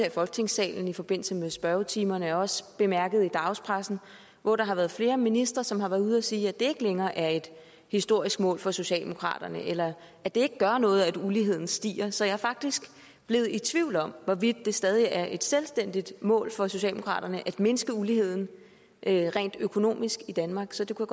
i folketingssalen i forbindelse med spørgetimerne og også i dagspressen hvor der har været flere ministre som har været ude at sige at det ikke længere er et historisk mål for socialdemokraterne eller at det ikke gør noget at uligheden stiger så jeg er faktisk blevet i tvivl om hvorvidt det stadig er et selvstændigt mål for socialdemokraterne at mindske uligheden rent økonomisk i danmark så det kunne